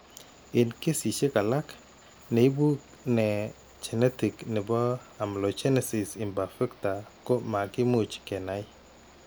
Eng' kesisiek alak, neibu ne genetic ne po amelogenesis imperfecta ko makimuch ke nai.